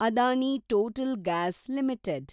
Adani Total Gas limited